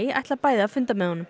ætla bæði að funda með honum